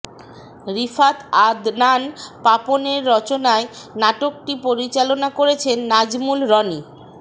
রিফাত আদনান পাপনের রচনায় নাটকটি পরিচালনা করেছেন নাজমুল রনি